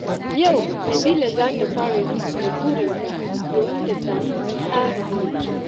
Yau Nabila za ta fara rubuta burinta domin ta samu tsari mai kyau.